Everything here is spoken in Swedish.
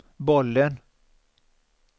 bollen